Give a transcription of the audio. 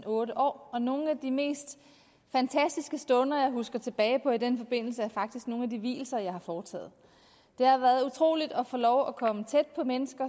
otte år og nogle af de mest fantastiske stunder jeg husker tilbage på i den forbindelse er faktisk nogle af de vielser jeg har foretaget det har været utroligt at få lov at komme tæt på mennesker